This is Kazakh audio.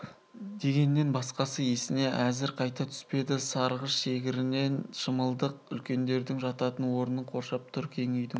дегеннен басқасы есіне әзір қайта түспеді сарғыш шегірен шымылдық үлкендердің жататын орнын қоршап тұр кең үйдің